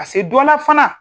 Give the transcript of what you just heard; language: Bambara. Ka se don na fana